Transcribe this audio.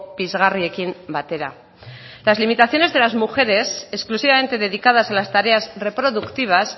pizgarriekin batera las limitaciones de las mujeres exclusivamente dedicadas a las tareas reproductivas